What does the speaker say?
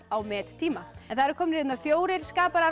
á mettíma það eru komnir hérna fjórir